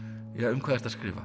um hvað ertu að skrifa